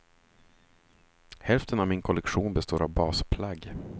Hälften av min kollektion består av basplagg.